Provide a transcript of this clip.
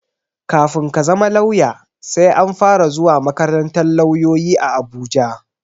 Kafin ka zama lauya, sai an fara zuwa makarantar lauloyi a Abuja.